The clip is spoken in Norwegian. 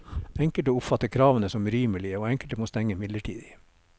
Enkelte oppfatter kravene som urimelige, og enkelte må stenge midlertidig.